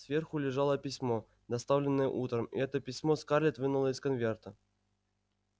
сверху лежало письмо доставленное утром и это письмо скарлетт вынула из конверта